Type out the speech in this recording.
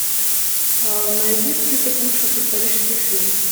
найди список лучших исторических фильмов